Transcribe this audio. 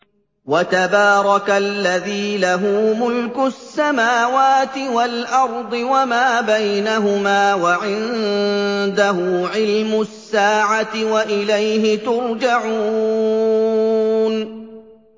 وَتَبَارَكَ الَّذِي لَهُ مُلْكُ السَّمَاوَاتِ وَالْأَرْضِ وَمَا بَيْنَهُمَا وَعِندَهُ عِلْمُ السَّاعَةِ وَإِلَيْهِ تُرْجَعُونَ